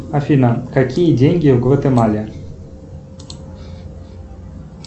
афина какие деньги в гватемале